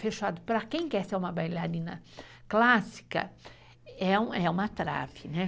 Fechado, para quem quer ser uma bailarina clássica, é uma trave.